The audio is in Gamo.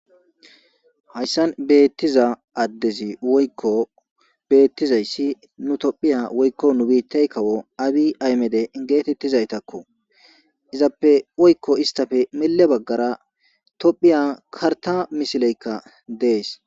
Hayisani betiza adezi woyiko betizays itophey woyiko nu kawo abi aymede getetesako izape woyiko isitape milebagara topheya karita misileyika dees